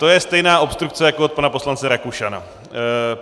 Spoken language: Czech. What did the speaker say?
To je stejná obstrukce jako od pana poslance Rakušana.